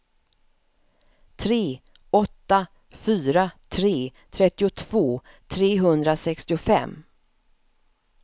tre åtta fyra tre trettiotvå trehundrasextiofem